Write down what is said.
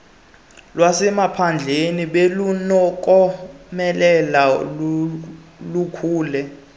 lwasemaphandleni belunokomelela lukhule